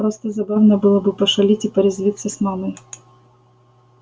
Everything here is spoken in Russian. просто забавно было бы пошалить и порезвиться с мамой